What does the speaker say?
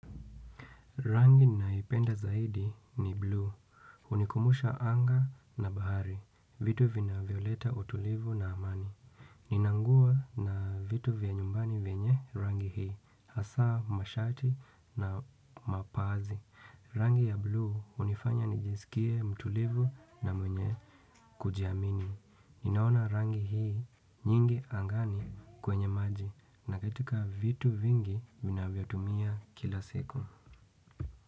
Rangi naipenda zaidi ni blue. Hunikumbusha anga na bahari. Vitu vina vivyoleta utulivu na amani. Nina nguo na vitu vya nyumbani venye rangi hii. Hasaa mashati na mapaazi. Rangi ya blue hunifanya nijisikie mtulivu na mwenye kujiamini. Ninaona rangi hii nyingi angani kwenye maji na katika vitu vingi vina vyo tumia kila siku.